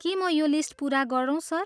के म यो लिस्ट पुरा गरौँ सर?